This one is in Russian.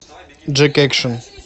джек экшн